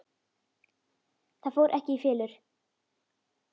Það fór ekki í felur.